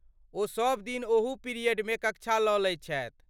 ओ सबदिन ओहू पीरियडमे कक्षा लऽ लैत छथि।